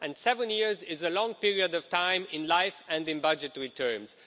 Seven years is a long period of time in life and in budgetary terms.